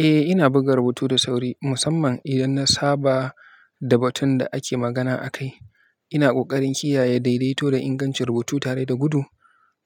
Eh, ina buga rubutu da sauri, musamman idan na saba da batun da ake magana akai. Ina ƙoƙarin kiyaye daidaito da ingancin rubutu tare da gudu,